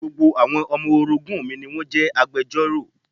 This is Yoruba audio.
Gbogbo àwọn ọmọ orogún mi ni wón jẹ́ agbejọ́rò.